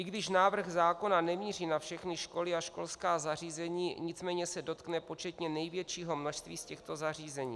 I když návrh zákona nemíří na všechny školy a školská zařízení, nicméně se dotkne početně největšího množství z těchto zařízení.